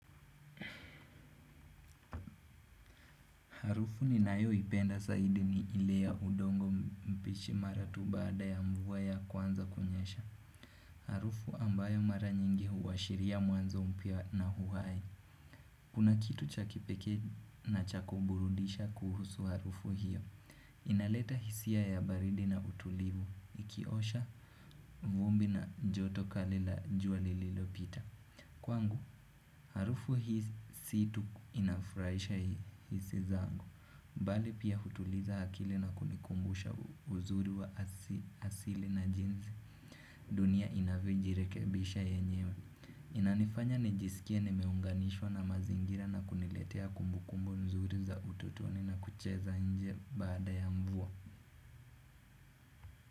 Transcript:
Harufu ninayo ipenda saidi ni ile ya udongo mpishi mara tu bada ya mvuwa ya kwanza kunyesha. Harufu ambayo mara nyingi huwashiria mwanzo mpia na huwai. Kuna kitu cha kipeke na cha kuburudisha kuhusu harufu hiyo. Inaleta hisia ya baridi na utulivu. Ikiosha vumbi na joto kali la juali lilopita. Kwangu, harufu hii situ inafuraisha hii hisi zangu. Mbali pia hutuliza hakili na kunikumbusha uzuri wa asili na jinzi Dunia inaviojirekebisha yenyewe. Inanifanya nijisikia nimeunganishwa na mazingira na kuniletea kumbukumbu zuri za ututoni na kucheza nje bada ya mvua.